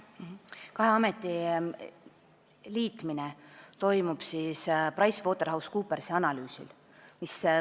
Kahe ameti liitmine toimub PricewaterhouseCoopersi analüüsi põhjal.